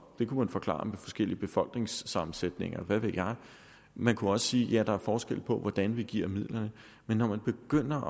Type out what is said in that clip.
man forklare med forskellig befolkningssammensætning og hvad ved jeg man kunne også sige ja der er forskel på hvordan vi giver midlerne men når man begynder